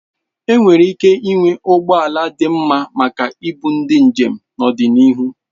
Enwere ike ịnwe ụgbọ ala dị mma maka ibu ndi njem n'ọdịnihu.